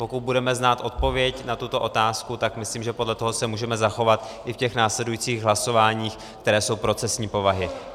Pokud budeme znát odpověď na tuto otázku, tak myslím, že podle toho se můžeme zachovat i v těch následujících hlasováních, která jsou procesní povahy.